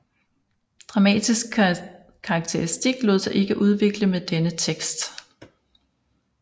Dramatisk karakteristik lod sig ikke udvikle med denne tekst